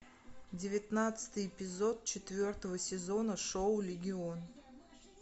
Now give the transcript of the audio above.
девятнадцатый эпизод четвертого сезона шоу легион